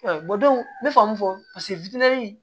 n bɛ fɛ mun fɔ paseke